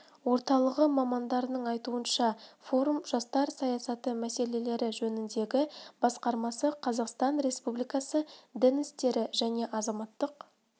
орталығы мамандарының айтуынша форум жастар саясаты мәселелері жөніндегі басқармасы қазақстан республикасы дін істері және азаматтық